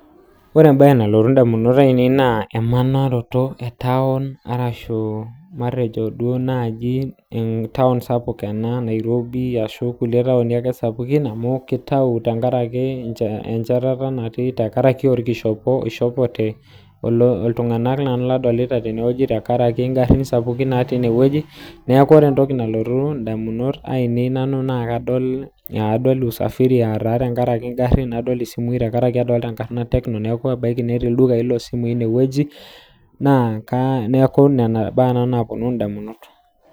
Ore embae nalotu ndamunot ainei na emanoroto etaun ashu amtejo nai entaun sapuk ena nairobi ashu ekae taun sapuk ena kitau tenkaraki enchetata natii tenkaraki orkishopo oishopote ltunganak kadolita tene tengaraki ngarum sapukin nadolita tenewueji neaku ore entoki nalotu ndamunot ainei na kadol usafiri tenkaraki ngarin neaku ebaki netii ldukai losimui inewueji na neaku nona baa naponu ndamunot